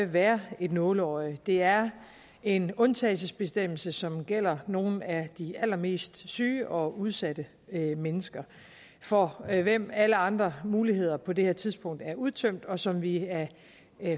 være et nåleøje det er en undtagelsesbestemmelse som gælder nogle af de allermest syge og udsatte mennesker for hvem alle andre muligheder på det aktuelle tidspunkt er udtømt og som vi af